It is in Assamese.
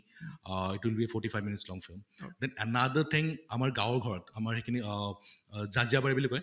আহ it will be forty five minutes long film, then another thing আমাৰ গাঁৱৰ ঘৰত আমাৰ এইখিনি অহ ওহ জাজিয়াবাৰি বুলি কয়